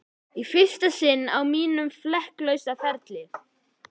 Í fyrsta sinn á mínum flekk lausa ferli.